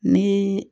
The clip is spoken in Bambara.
Ni